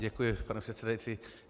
Děkuji, pane předsedající.